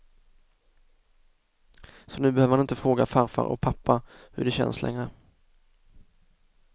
Så nu behöver han inte fråga farfar och pappa hur det känns längre.